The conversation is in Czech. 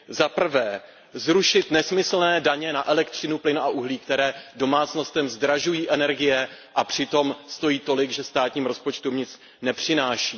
Za prvé, zrušit nesmyslné daně na elektřinu, plyn a uhlí, které domácnostem zdražují energie a přitom stojí tolik, že státním rozpočtům nic nepřináší.